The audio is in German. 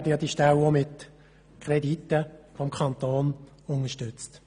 Häufig werden die Ställe auch mit Krediten des Kantons unterstützt.